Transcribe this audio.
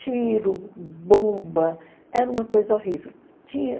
Tiro, bomba, era uma coisa horrível. Tinha